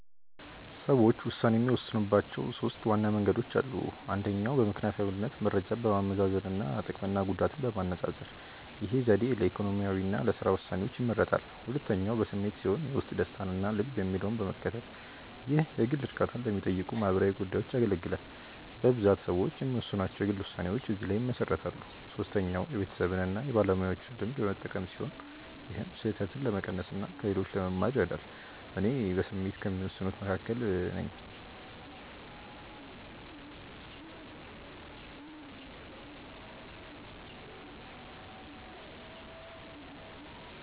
ሰዎች ውሳኔ የሚወስኑባቸው ሦስት ዋና መንገዶች አሉ። አንደኛው በምክንያታዊነት መረጃን በማመዛዘን እና ጥቅምና ጉዳትን በማነፃፀር። ይህ ዘዴ ለኢኮኖሚ እና ለሥራ ውሳኔዎች ይመረጣል። ሁለተኛው በስሜት ሲሆን የውስጥ ደስታን እና ልብ የሚለውን በመከተል። ይህ የግል እርካታን ለሚጠይቁ ማህበራዊ ጉዳዮች ያገለግላል። በብዛት ሰዎች የሚወስኗቸው የግል ውሳኔዎች እዚህ ላይ ይመሰረታሉ። ሶስተኛው የቤተሰብን እና የባለሙያዎችን ልምድ በመጠቀም ሲሆን ይህም ስህተትን ለመቀነስ እና ከሌሎች ለመማር ይረዳል። እኔ በስሜት ከሚወስኑት መካከል ነኝ።